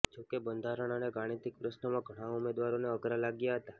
જોકે બંધારણ અને ગાણિતીક પ્રશ્નોમાં ઘણા ઉમેદવારોને અઘરા લાગ્યા હતા